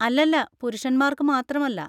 അല്ലല്ല, പുരുഷന്മാർക്ക് മാത്രമല്ല.